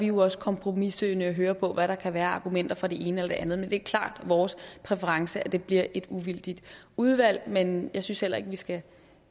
jo også kompromissøgende i at høre på hvad der kan være af argumenter for det ene eller det andet det er klart vores præference at det bliver et uvildigt udvalg men jeg synes heller ikke vi skal